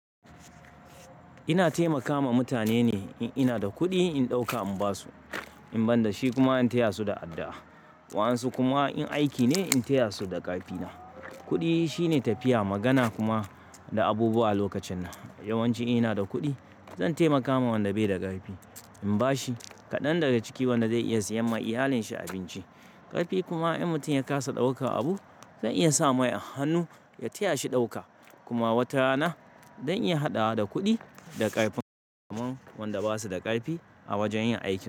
Ina taimaka ma mutane ne. In ina da kuɗi, in ɗauka in ba su, in ban da shi kuma in taya su da addu'a. Waɗansu kuma in aiki ne, in taya su da ƙarfi na. Kuɗi shine tafiya, magana kuma da abubuwa a lokacin nan. Yawan ci ina da kuɗi, zan taimaka ma wanda bai da ƙarfi. In ba shi kaɗan daga ciki, wanda zai iya siyan ma iyalin shi abinci. Ƙarfi kuma in mutum ya kasa ɗauka abu, zan iya sa mai a hannu, ya taya shi ɗauka. Kuma wata rana, zan iya haɗawa da kuɗi da ƙarfin kasamu wanda ba su da ƙarfi a wajen yin aikin su.